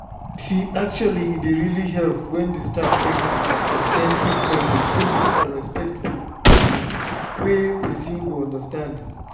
actually e dey really help when staff take explain treatment with simple and respectful um way wey person go understand.